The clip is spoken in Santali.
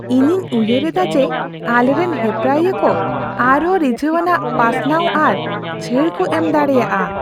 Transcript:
ᱤᱧᱤᱧ ᱩᱭᱦᱟᱹᱨᱮᱫᱟ ᱡᱮ ᱟᱞᱮᱨᱮᱱ ᱦᱮᱯᱨᱟᱣᱤᱭᱟᱹ ᱠᱚ ᱟᱨᱦᱚᱸ ᱨᱤᱡᱷᱟᱹᱣᱟᱱᱟᱜ ᱯᱟᱥᱱᱟᱣ ᱟᱨ ᱪᱷᱟᱹᱲ ᱠᱚ ᱮᱢ ᱫᱟᱲᱮᱭᱟᱜᱼᱟ